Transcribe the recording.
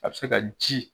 A bɛ se ka ji